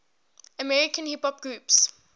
american hip hop groups